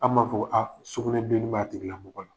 Anw b'a fɔ ko a sugunɛ bilenni b'a tigila mɔgɔ la.